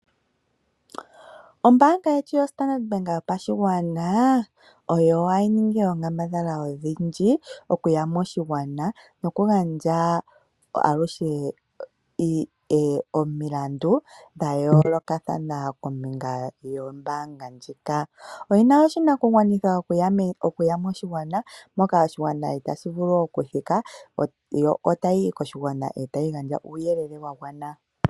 Ombaanga yetu yoStandard ohayi ningi oonkambadhala odhindji okuya moshigwana nokugandja aluhe omilandu dha yoolokathana kombinga yombaanga ndjika. Oye na oshinakugwanithwa okuya moshigwana, mpoka oshigwana itaashi vulu okuthika, yo ohayi yi moshigwana e ta yi gandja uuyelele wa gwana.